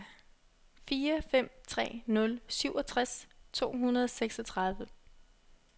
fire fem tre nul syvogtres to hundrede og seksogtredive